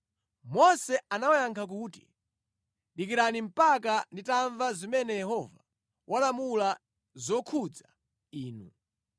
Mose anawayankha kuti, “Dikirani mpaka nditamva zimene Yehova walamula zokhudza Inu.”